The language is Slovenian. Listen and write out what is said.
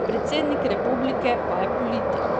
Predsednik republike pa je politik.